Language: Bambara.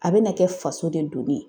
A bɛna kɛ faso de doni ye.